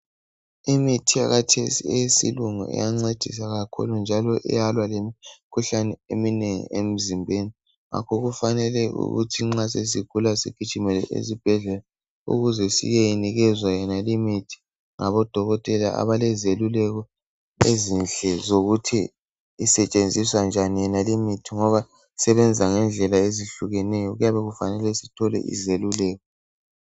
Imithi yakathesi eyesilungu iyancedisa kakhulu. Njalo iyalwa lemkhuhlane eminengi emzimbeni .Ngakho kufanele ukuthi nxa sesigula sigijimele esibhedlela ukuze siyenikezwa yonale imithi ngabodokotela abalezeluleko ezinhle zokuthi isetshenziswa njani yonale imithi .Ngoba isebenza ngendlela ezehlukeneyo .Kuyabe kufanele sithole izeluleko .